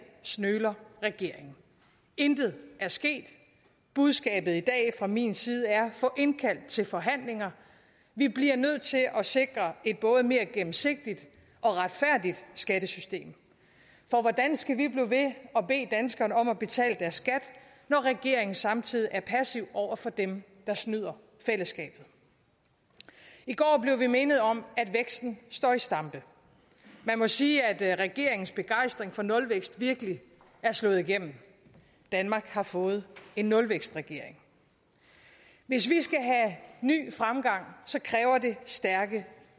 nøler regeringen intet er sket budskabet i dag fra min side er få indkaldt til forhandlinger vi bliver nødt til at at sikre et både mere gennemsigtigt og retfærdigt skattesystem for hvordan skal vi blive ved at bede danskerne om at betale deres skat når regeringen samtidig er passiv over for dem der snyder fællesskabet i går blev vi mindet om at væksten står i stampe man må sige at regeringens begejstring for nulvækst virkelig er slået igennem danmark har fået en nulvækstregering hvis vi skal have ny fremgang kræver det stærke